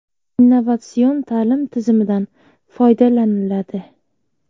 Innovatsion ta’lim tizimidan foydalaniladi.